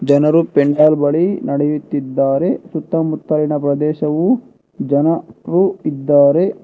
ಜನರು ಪೆಂಡಾಲ್ ಬಳಿ ನಡೆಯುತ್ತಿದ್ದಾರೆ ಸುತ್ತಮುತ್ತಲಿನ ಪ್ರದೇಶವು ಜನರು ಇದ್ದಾರೆ.